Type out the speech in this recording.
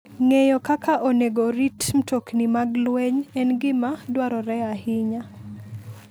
Ng'eyo kaka onego orit mtokni mag lweny en gima dwarore ahinya.